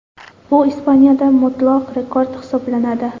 Bu Ispaniyada mutlaq rekord hisoblanadi.